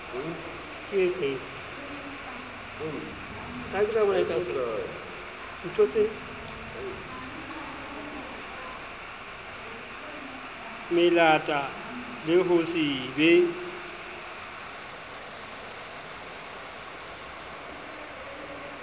melata le ho se be